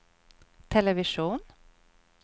television